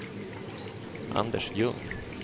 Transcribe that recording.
Anders Ljung